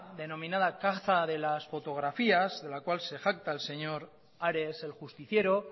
denominada caza de las fotografías de la cual se jacta el señor ares el justiciero